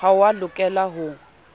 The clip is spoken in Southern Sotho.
ha o a lokela ho